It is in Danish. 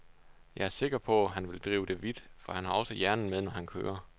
Jeg er sikker på, han vil drive det vidt, for han har også hjernen med, når han kører.